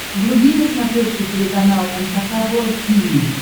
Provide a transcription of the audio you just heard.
вруби на смотрешке телеканал эн эйч кей волд ти ви